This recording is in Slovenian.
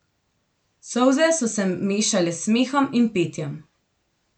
Solze so se mešale s smehom in petjem.